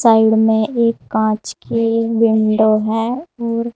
side में एक कांच की विंडो है और--